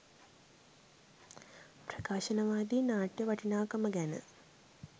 ප්‍රකාශනවාදී නාට්‍ය වටිනාකම ගැන